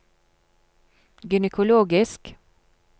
gynekologisk